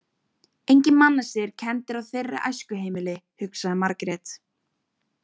Engir mannasiðir kenndir á þeirra æskuheimili, hugsaði Margrét.